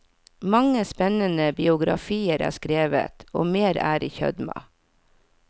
Mange spennende biografier er skrevet, og mer er i kjømda.